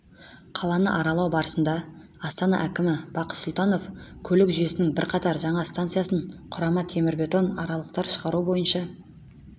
қаланы аралау барысында астанаәкімі бақыт сұлтанов көлік жүйесінің бірқатар жаңа станциясын құрама темірбетон арқалықтар шығару бойынша